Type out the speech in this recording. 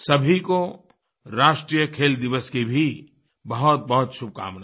सभी को राष्ट्रीय खेल दिवस की भी बहुतबहुत शुभकामनाएँ